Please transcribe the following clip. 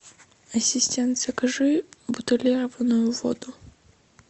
ассистент закажи бутилированную воду